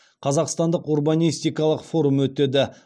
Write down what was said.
қазақстандық урбанистикалық форум өтеді